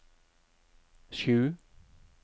sju